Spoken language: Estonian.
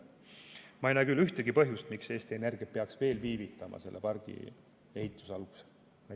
Ma ei näe küll ühtegi põhjust, miks Eesti Energia peaks veel viivitama selle pargi ehituse algusega.